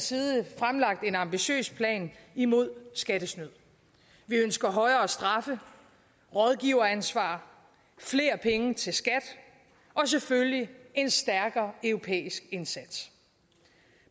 side fremlagt en ambitiøs plan imod skattesnyd vi ønsker højere straffe rådgiveransvar flere penge til skat og selvfølgelig en stærkere europæisk indsats